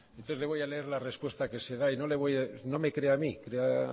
entonces le voy a leer la respuesta que se da y no me crea a mí crea